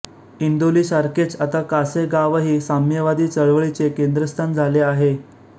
इंदोली सारखेच आता कासेगावही साम्यवादी चळवळीचे केंद्रस्थान झाले होते